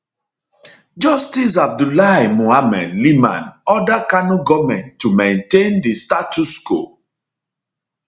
justice abdullahi muhammad liman order kano goment to maintain di status status quo